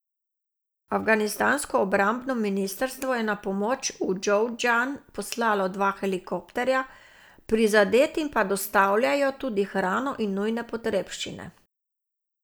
Afganistansko obrambno ministrstvo je na pomoč v Džovzdžan poslalo dva helikopterja, prizadetim pa dostavljajo tudi hrano in nujne potrebščine.